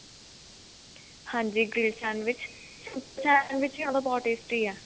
ਹਾਂਜੀ grilled sandwich sandwich ਹੀ ਉਹਨਾ ਦਾ ਬਹੁਤ tasty ਹੈ